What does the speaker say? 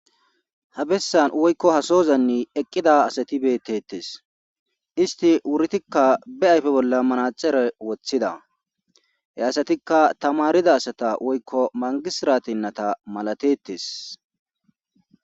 habessan woykko hasozanni eqqida asati bettettes isti wuritikka be ayfe bolla manacere woththida he asatikka tamarida asata woykko mangisirateyinnata malatettes